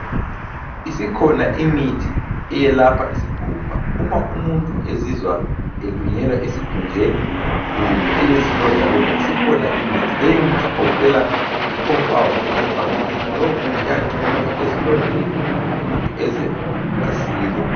Isikhona imithi eyelapha isikhumba. Uma umuntu ezizwa elunyelwa esikhunjeni kumbe elezilondalonda isikhona imithi . Leyimithi igoqela icompound camphor cream. Lowo muthi uyagcotshwa ezilondeni umuntu eze asile.